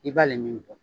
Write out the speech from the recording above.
I b'ale min bɔ